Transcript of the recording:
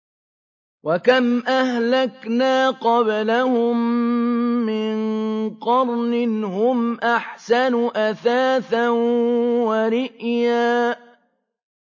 وَكَمْ أَهْلَكْنَا قَبْلَهُم مِّن قَرْنٍ هُمْ أَحْسَنُ أَثَاثًا وَرِئْيًا